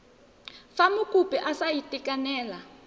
fa mokopi a sa itekanela